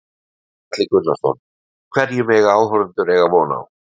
Gunnar Atli Gunnarsson: Hverju mega áhorfendur eiga von á?